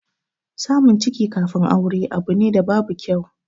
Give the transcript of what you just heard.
Samun ciki kafin aure abu ne da babu kyau.